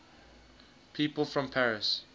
people from paris